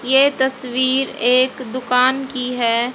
ये तस्वीर एक दुकान की है।